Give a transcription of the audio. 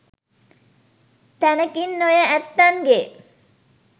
තැනකින් ඔය ඇත්තන්ගෙ